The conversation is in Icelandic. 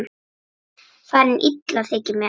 Farin illa þykir mér.